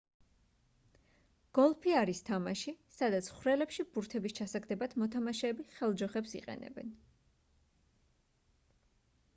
გოლფი არის თამაში სადაც ხვრელებში ბურთების ჩასაგდებად მოთამაშეები ხელჯოხებს იყენებენ